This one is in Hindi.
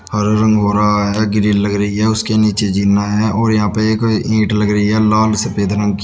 हरा रंग हो रहा है ग्रिल लग रही है उसके नीचे जिना है और यहाँ पे एक ईंट लग रही है लाल सफ़ेद रंग की।